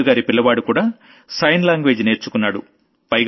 పూజగారి పిల్లవాడు కూడా sign language నేర్చుకున్నాడు